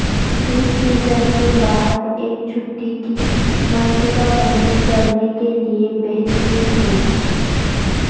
اس season کے باہر ایک چھٹی کی منصوبہ بندی کرنے کے لئے بہترین ہے